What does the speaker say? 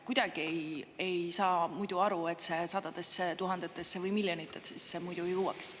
Kuidagi ei saa muidu aru, et see sadadesse tuhandetesse või miljonitesse muidu jõuaks.